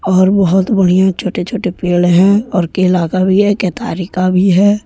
और बहोत बढ़िया छोटे छोटे पेड़ हैं और केला का भी है केतारी का भी है।